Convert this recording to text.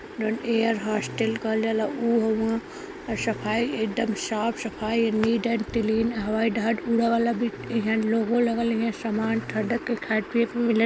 air hostess कहल जाला ऊ सफाई एकदम साफ सफाई नीट एंड क्लीन हवाईजहाज वाला लोगो लगल है समान --